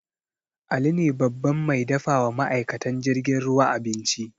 Ali ne babban mai dafa wa ma'aikatan jirgin ruwa abinci